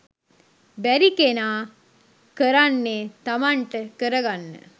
බැරි කෙනා කරන්නේ තමන්ට කරගන්න